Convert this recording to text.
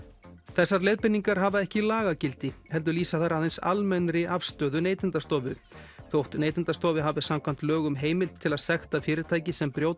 þessar leiðbeiningar hafa ekki lagagildi heldur lýsa þær aðeins almennri afstöðu Neytendastofu þótt Neytendastofa hafi samkvæmt lögum heimild til að sekta fyrirtæki sem brjóta